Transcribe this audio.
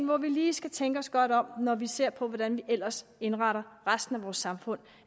hvor vi lige skal tænke os godt om når vi ser på hvordan vi ellers indretter resten af vores samfund